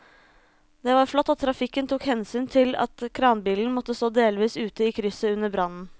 Det var flott at trafikken tok hensyn til at kranbilen måtte stå delvis ute i krysset under brannen.